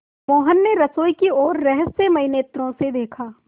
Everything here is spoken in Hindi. मोहन ने रसोई की ओर रहस्यमय नेत्रों से देखा